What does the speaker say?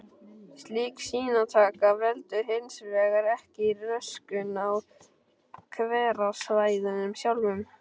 Slík sýnataka veldur hins vegar ekki röskun á hverasvæðunum sjálfum.